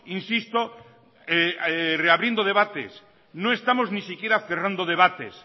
insisto reabriendo debates no estamos ni siquiera cerrando debates